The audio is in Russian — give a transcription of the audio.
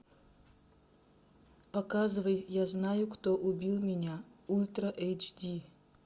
показывай я знаю кто убил меня ультра эйч ди